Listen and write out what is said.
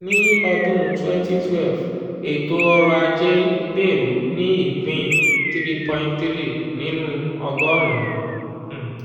ní ọdún 2012 ètò ọrọ̀ ajé gbèrú ní ìpín 3.3 nínú ọgọ́rùn-ún.